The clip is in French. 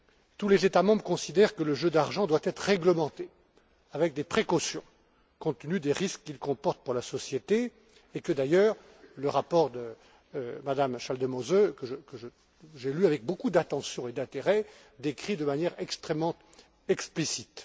Tous les États membres considèrent que les jeux d'argent doivent être réglementés avec précaution, compte tenu des risques qu'ils comportent pour la société et que, d'ailleurs, le rapport de M me Schaldemose que j'ai lu avec beaucoup d'attention et d'intérêt décrit de manière extrêmement explicite.